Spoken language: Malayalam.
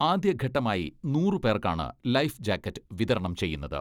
ആദ്യഘട്ടമായി നൂറ് പേർക്കാണ് ലൈഫ് ജാക്കറ്റ് വിതരണം ചെയ്യുന്നത്.